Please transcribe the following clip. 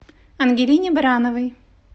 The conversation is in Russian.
ангелине барановой